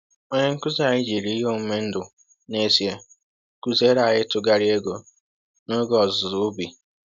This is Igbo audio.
Onye nkuzi anyị jiri ihe omume ndụ n’ezie kụziere anyị ịtụgharị ego n’oge ọzụzụ ubi.